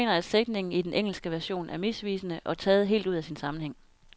Jeg mener, at sætningen i den engelske version er misvisende og taget helt ud af sin sammenhæng.